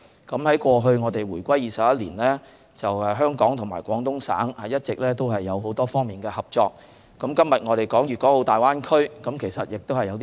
自回歸後21年以來，香港與廣東省一直有多方面的合作，那麼今天我們所說的粵港澳大灣區究竟有何新元素？